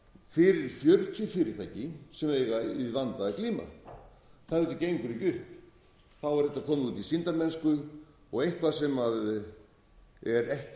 fyrir fjörutíu fyrirtæki sem eiga við vanda að glíma það gengur auðvitað ekki upp þá er þetta komið út í sýndarmennsku og eitthvað sem er